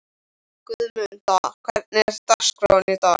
Guðmunda, hvernig er dagskráin í dag?